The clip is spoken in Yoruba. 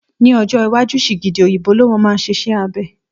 Ní ọjọ́ iwájú, sìgìdì òyìnbó ló máa ma ṣe iṣẹ́ abẹ